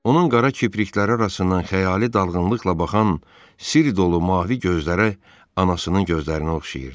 Onun qara kiprikləri arasından xəyali dalğınlıqla baxan sirr dolu mavi gözləri anasının gözlərinə oxşayırdı.